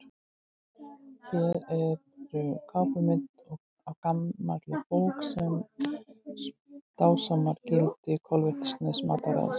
Hér er kápumynd af gamalli bók sem dásamar gildi kolvetnasnauðs mataræðis.